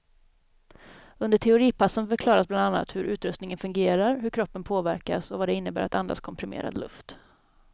Under teoripassen förklaras bland annat hur utrustningen fungerar, hur kroppen påverkas och vad det innebär att andas komprimerad luft.